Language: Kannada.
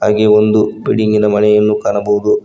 ಹಾಗೆ ಒಂದು ಬಿಲ್ಡಿಂಗಿನ ಮನೆಯನ್ನು ಕಾಣಬಹುದು.